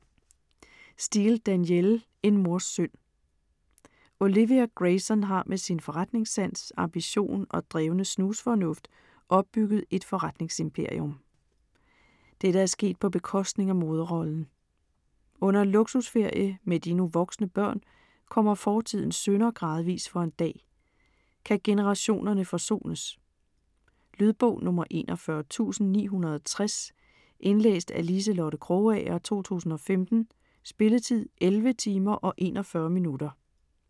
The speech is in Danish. Steel, Danielle: En mors synd Olivia Grayson har med sin forretningssans, ambition og drevne snusfornuft opbygget et forretningsimperium. Dette er sket på bekostning af moderrollen. Under en luksusferie med de nu voksne børn kommer fortidens synder gradvist for en dag. Kan generationerne forsones? Lydbog 41960 Indlæst af Liselotte Krogager, 2015. Spilletid: 11 timer, 41 minutter.